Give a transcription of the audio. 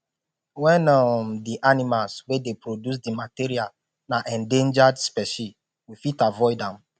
when um di animals wey dey produce di material na endangered specie we fit avoid them